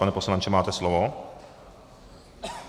Pane poslanče, máte slovo.